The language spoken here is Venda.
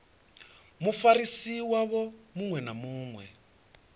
mufarisi wavho muṅwe na muṅwe